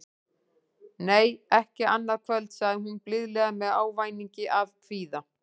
Nei, ekki annað kvöld, sagði hún blíðlega með ávæningi af kvíða.